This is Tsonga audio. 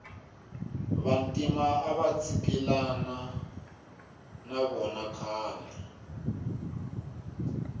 vantima avatsikilana navona khale